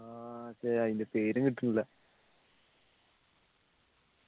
ആഹ് ശരിയാ അതിൻ്റെ പേര് കിട്ടുന്നില്ല